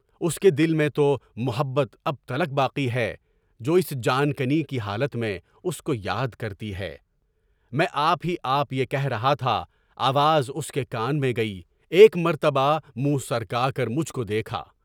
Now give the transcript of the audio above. اُس کے دل میں تو محبت اب تلک باقی ہے جو اس جان کنی کی حالت میں اُس کو یاد کرتی ہے، میں آپ ہی آپ یہ کہہ رہا تھا، آواز اُس کے کان میں گئی، ایک مرتبہ مُنھ سر کا کر مجھ کو دیکھا۔